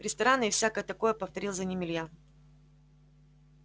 рестораны и всякое такое повторил за ним илья